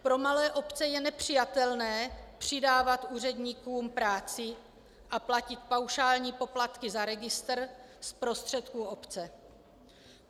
Pro malé obce je nepřijatelné přidávat úředníkům práci a platit paušální poplatky za registr z prostředků obce.